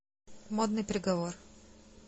модный приговор